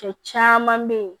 Cɛ caman bɛ yen